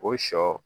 O sɔ